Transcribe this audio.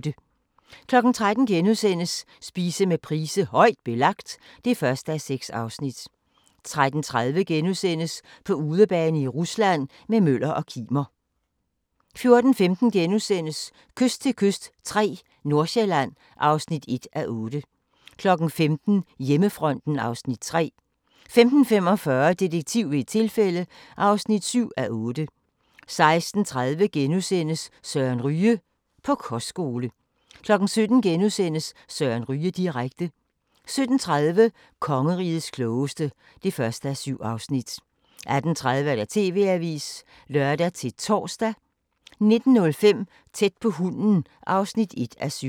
13:00: Spise med Price: "Højt Belagt" (1:6)* 13:30: På udebane i Rusland – med Møller og Kimer * 14:15: Kyst til kyst III – Nordsjælland (1:8)* 15:00: Hjemmefronten (Afs. 3) 15:45: Detektiv ved et tilfælde (7:8) 16:30: Søren Ryge: På kostskole * 17:00: Søren Ryge direkte * 17:30: Kongerigets klogeste (1:7) 18:30: TV-avisen (lør-tor) 19:05: Tæt på hunden (1:7)